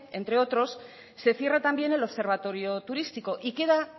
entre otros se cierra también el observatorio turístico y queda